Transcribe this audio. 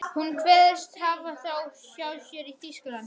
Hún kveðst hafa þá hjá sér í Þýskalandi.